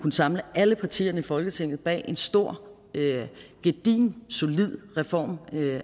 samle alle partierne i folketinget bag en stor gedigen solid reform